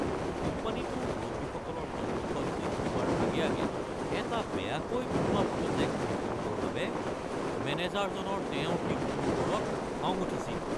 কোম্পানীটোৰ মুৰব্বীসকলৰ সন্মুখত দেখুওৱাৰ আগে আগে এটা বেয়াকৈ বনোৱা প্ৰজেক্ট ৰিপ'ৰ্টৰ বাবে মেনেজাৰজনৰ তেওঁৰ টীমটোৰ ওপৰত খং উঠিছিল।